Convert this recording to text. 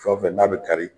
Fɛn o fɛn n'a bɛ kari